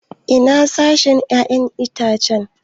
Ina sashen 'ya'yan itace?